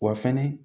Wa fɛnɛ